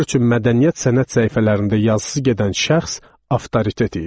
Onlar üçün mədəniyyət sənət səhifələrində yazısı gedən şəxs avtoritet idi.